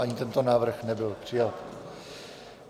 Ani tento návrh nebyl přijat.